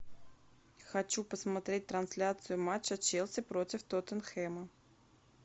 хочу посмотреть трансляцию матча челси против тоттенхэма